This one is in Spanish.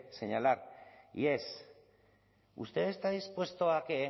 señalar y es usted está dispuesto a que